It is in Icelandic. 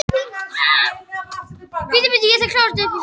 Þetta tap þarf að bæta upp með fæðunni.